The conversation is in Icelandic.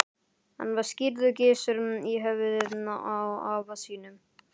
Hann var skírður Gissur, í höfuðið á afa sínum.